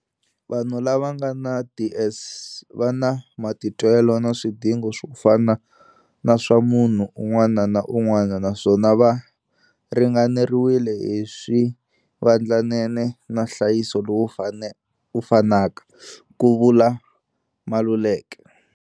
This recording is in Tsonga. Vanhu lava va nga na DS va na matitwelo na swidingo swo fana na swa munhu un'wana na un'wana naswona va ringaneriwile hi swivandlanene na nhlayiso lowu fanaka, ku vula Maluleka.